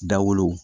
Dawolo